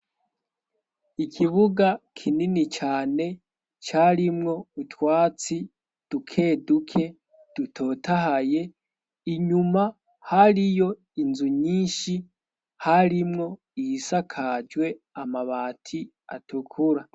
ikibuga kinini cane carimwo butwatsi dukeduke dutotahaye inyuma hariyo inzu nyinshi harimwo iyisakajwe amabati atukura